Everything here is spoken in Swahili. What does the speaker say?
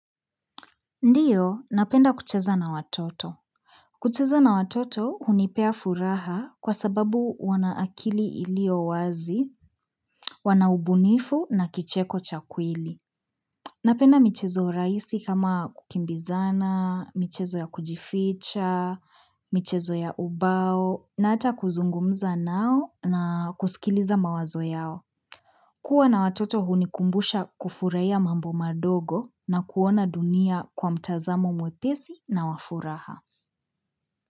Ndio, napenda kucheza na watoto. Kucheza na watoto hunipea furaha kwa sababu wana akili iliyo wazi, wana ubunifu na kicheko cha kweli. Napenda michezo rahisi kama kukimbizana, michezo ya kujificha, michezo ya ubao, na ata kuzungumza nao na kusikiliza mawazo yao. Kua na watoto hunikumbusha kufurahia mambo madogo na kuona dunia kwa mtazamo mwepesi na wa furaha.